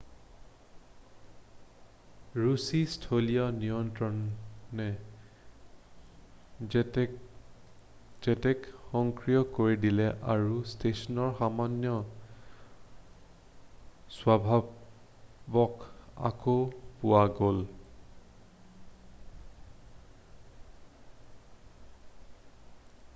ৰুছী স্থলীয় নিয়ন্ত্ৰণে জেটক সক্ৰিয় কৰি দিলে আৰু ষ্টেচনৰ সামান্য স্বভাৱক আকৌ পোৱা গ'ল